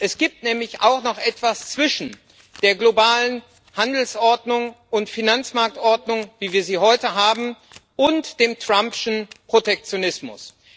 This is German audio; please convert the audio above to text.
Es gibt nämlich auch noch etwas zwischen der globalen Handelsordnung und Finanzmarktordnung, wie wir sie heute haben, und dem Trumpschen Protektionismus.